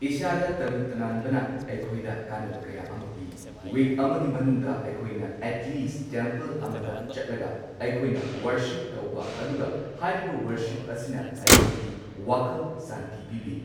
ꯏꯁꯥꯗ ꯇꯔꯨ ꯇꯅꯥꯟꯕꯅ ꯑꯩꯈꯣꯏꯗ ꯀꯥꯟꯅꯕ ꯀꯌꯥ ꯑꯃ ꯄꯤ꯫ ꯋꯤꯛ ꯑꯃꯒꯤ ꯃꯅꯨꯡꯗ ꯑꯩꯈꯣꯏꯅ ꯑꯦꯠꯂꯤꯁ ꯇꯦꯝꯄꯜ ꯑꯃꯗ ꯆꯠꯂꯒ ꯑꯩꯈꯣꯏꯅ ꯋꯥꯔꯁꯤꯞ ꯇꯧꯕ ꯑꯗꯨꯒ ꯍꯥꯏꯔꯤꯕ ꯋꯥꯔꯁꯤꯞ ꯑꯁꯤꯅ ꯑꯩꯈꯣꯏꯒꯤ ꯋꯥꯈꯜ ꯁꯥꯟꯇꯤ ꯄꯤꯕꯤ꯫